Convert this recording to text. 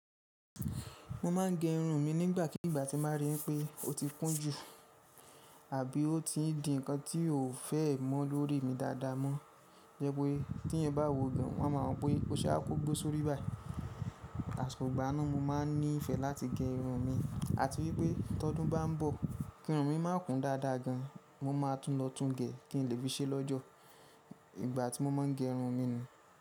Mo máa ń gẹ irun mi nígbàkigbà tí mo rí pé ó ti kún jù àbí ó ti di ǹkan tí kò fẹ́ mọ́ lórí mi dáadáa mọ́. Jẹ́ pé tí èèyàn bá wo gán wọn máa mọ̀ pé o ṣe á kọ́gbọ́ sórí ibài. Àsọ̀gbà náà mo máa ń nífẹ̀ẹ́ láti gẹ irun mi àti wípé tọdún bá ń bọ̀ kí irun mi má kún dáadáa gan mo máa tún lọ tún gẹ kí n lè fi ṣé lọ́jọ́. Ìgbà tí mo má ń gẹ irun mi ni.